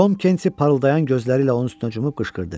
Tom Kensi parıldayan gözləri ilə onun üstünə cumub qışqırdı: